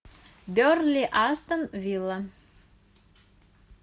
бернли астон вилла